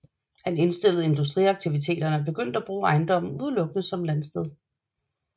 Han indstillede industriaktiviteterne og begyndte at bruge ejendommen udelukkende som et landsted